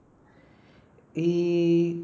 ഈ